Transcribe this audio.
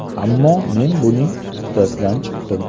Ammo, men buning uddasidan chiqdim.